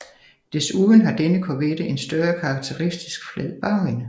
Desuden har denne Corvette en større karakteristisk flad bagende